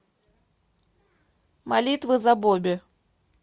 молитва за бобби